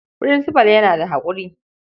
Furinsifal yana da haƙuri.